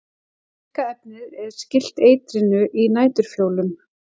Virka efnið er skylt eitrinu í næturfjólum.